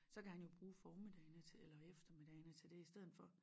Så kan han jo bruge formiddagene eller eftermiddagene til det i steden for